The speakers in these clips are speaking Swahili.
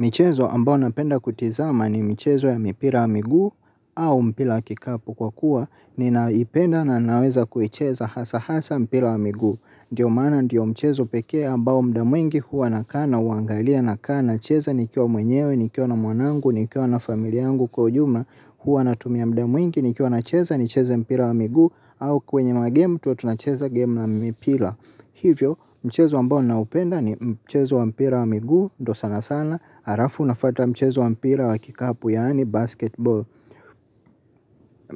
Michezo ambao napenda kutizama ni michezo ya mipira wa miguu au mpira wa kikapu kwa kuwa ninaipenda na ninaweza kuicheza hasa hasa mpira wa miguu. Ndio maana ndiyo mchezo pekee ambao muda mwingi huwa nakaa nauangalia nakaa nacheza nikiwa mwenyewe, nikiwa na mwanangu, nikiwa na familia yangu kwa ujumla huwa natumia muda mwingi, nikiwa nacheza, nicheze mpira wa miguu au kwenye magemu tuwe tunacheza gemu na mipira. Hivyo mchezo ambao naupenda ni mchezo wa mpira wa miguu ndio sana sana. Alafu nafuata mchezo wa mpira wa kikapu yaani basketball.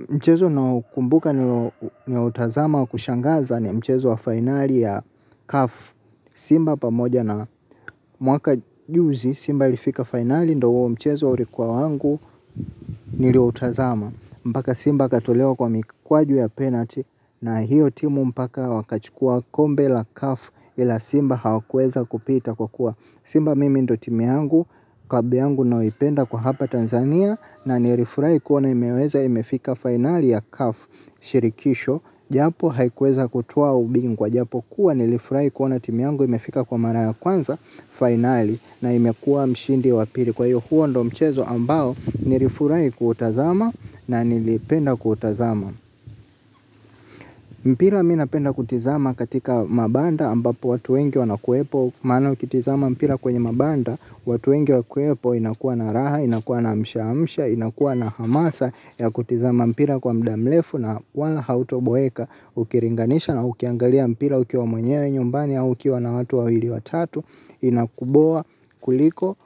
Mchezo naokumbuka niliotazama wa kushangaza ni mchezo wa fainali ya kafu Simba pamoja na mwaka juzi simba ilifika fainali ndio huo mchezo ulikuwa wangu niliutazama. Mpaka Simba akatolewa kwa mikwaju ya penalty na hiyo timu mpaka wakachukua kombe la CAF ila Simba hawakuweza kupita kwa kuwa Simba mimi ndio timu yangu, klabu yangu ninayoipenda kwa hapa Tanzania na nilifurahi kuona imeweza imefika fainali ya CAF Shirikisho, japo haikuweza kutua ubingwa, japo kuwa nilifurahi kuona timu yangu imefika kwa mara ya kwanza fainali na imekuwa mshindi wa pili. Kwa hiyo huo ndio mchezo ambao nilifurahi kuutazama na nilipenda kuutazama. Mpira mimi napenda kutizama katika mabanda ambapo watu wengi wanakuwepo. Maana ukitizama mpira kwenye mabanda watu wengi wakiwepo inakuwa na raha, inakuwa na mshamsha, inakuwa na hamasa ya kutizama mpira kwa muda mrefu na wala hautoboeka ukilinganisha na ukiangalia mpira ukiwa mwenyewe nyumbani au ukiwa na watu wawili watatu. Inakuboa kuliko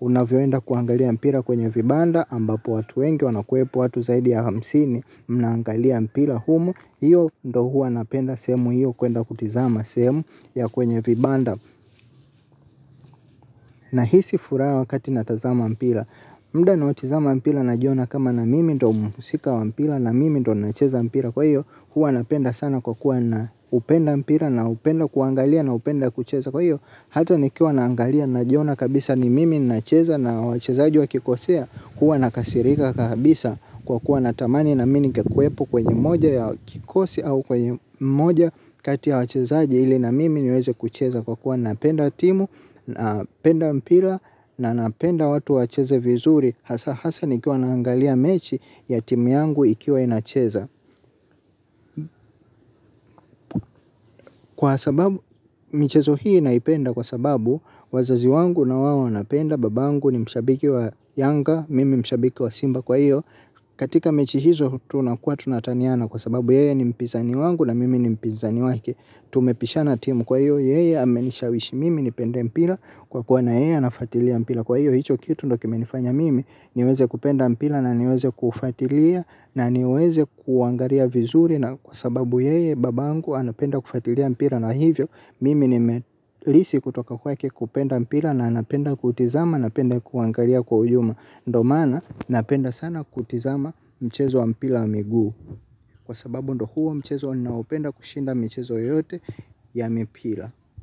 unavyoenda kuangalia mpira kwenye vibanda ambapo watu wengi wanakuwepo watu zaidi ya hamsini. Mnaangalia mpira humo. Hiyo ndio huwa napenda sehemu hiyo kuenda kutizama sehemu ya kwenye vibanda. Nahisi furaha wakati natazama mpira. Muda naotizama mpira najiona kama na mimi ndio mhusika wa mpira. Na mimi ndio nacheza mpira kwa hiyo. Hua napenda sana kwa kuwa naupenda mpira. Naupenda kuangalia naupenda kucheza kwa hiyo. Hata nikiwa naangalia najiona kabisa ni mimi nacheza na wachezaji wakikosea huwa nakasirika kabisa kwa kuwa natamani na mimi ningekuwepo kwenye moja ya kikosi. Au kwenye moja kati ya wachezaji ili na mimi niweze kucheza kwa kuwa napenda timu. Napenda mpira na napenda watu wacheze vizuri. Hasa nikiwa naangalia mechi ya timu yangu ikiwa inacheza. Kwa sababu michezo hii naipenda kwa sababu wazazi wangu nawao wanapenda. Babangu ni mshabiki wa yanga mimi mshabiki wa simba kwa hiyo. Katika mechi hizo tunakua tunataniana kwa sababu yeye ni mpizani wangu na mimi ni mpizani wake. Tumepishana timu kwa hiyo yeye amenishawishi mimi nipende mpira kwa kuwa na yeye anafuatilia mpira. Kwa hiyo hicho kitu ndio kimenifanya mimi niweze kupenda mpira na niweze kufuatilia na niweze kuangalia vizuri na kwa sababu yeye babangu anapenda kufuatilia mpira na hivyo mimi nime lisi kutoka kwake kupenda mpira na anapenda kutizama anapenda kuangalia kwa uyuma ndio maana napenda sana kutizama mchezo wa mpira wa miguu kwa sababu ndio huwa mchezo ninaopenda kushinda michezo yote ya mipira.